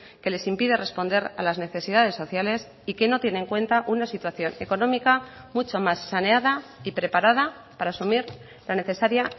que les impide responder a las necesidades sociales y que no tiene en cuenta una situación económica mucho más saneada y preparada para asumir la necesaria